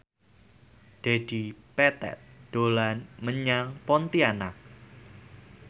Dedi Petet dolan menyang Pontianak